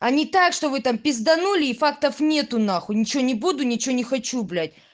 они так что вы там пизданули и фактов нету на хуй ничего не буду ничего не хочу блять